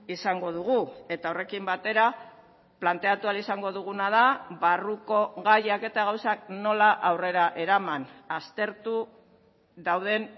izango dugu eta horrekin batera planteatu ahal izango duguna da barruko gaiak eta gauzak nola aurrera eraman aztertu dauden